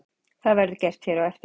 það verður gert hér á eftir